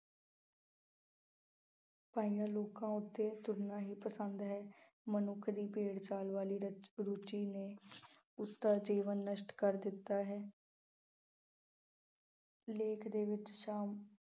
ਪਾਈਆਂ ਲੀਕਾਂ ਉੱਤੇ ਤੁਰਨਾ ਹੀ ਪਸੰਦ ਹੈ। ਮਨੁੱਖ ਦੀ ਭੇਡ ਚਾਲ ਵਾਲੀ ਰੁਚ ਰੁਚੀ ਨੇ ਉਸਦਾ ਜੀਵਨ ਨਸ਼ਟ ਕਰ ਦਿੱਤਾ ਹੈ। ਲੇਖ ਦੇ ਵਿੱਚ ਚਾਲ